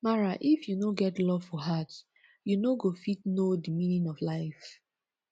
mara if you no get love for heart u no go fit know de meaning of life